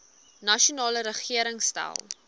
nasionale regering stel